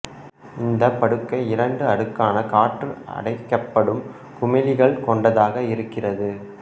இந்த படுக்கை இரண்டு அடுக்கான காற்று அடைக்கப்படும் குமிழ்கள் கொண்டதாக இருக்கிறது